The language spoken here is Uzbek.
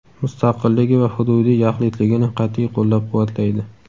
mustaqilligi va hududiy yaxlitligini qat’iy qo‘llab-quvvatlaydi.